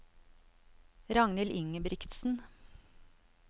Ragnhild Ingebrigtsen